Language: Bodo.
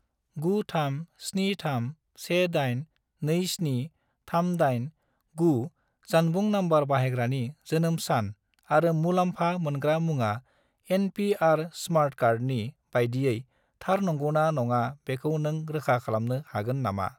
93731827389 जानबुं नम्बर बाहायग्रानि जोनोम सान आरो मुलाम्फा मोनग्रा मुङा एन.पि.आर. स्मार्ट कार्डनि बायदियै थार नंगौना नङा बेखौ नों रोखा खालामनो हागोन नामा?